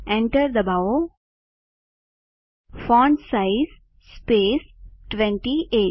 enter દબાવો font size space 28